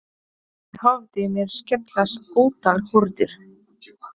Inní höfði mér skellast ótal hurðir.